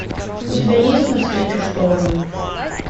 у тебя есть навстречу шторму